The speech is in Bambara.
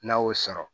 N'a y'o sɔrɔ